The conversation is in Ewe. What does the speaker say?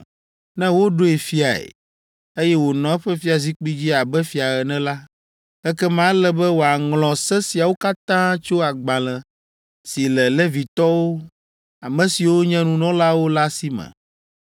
“Ne woɖoe fiae, eye wònɔ eƒe fiazikpui dzi abe fia ene la, ekema ele be wòaŋlɔ se siawo katã tso agbalẽ si le Levitɔwo, ame siwo nye nunɔlawo la si me.